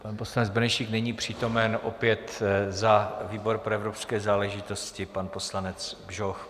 Pan poslanec Benešík není přítomen, opět za výbor pro evropské záležitosti pan poslanec Bžoch.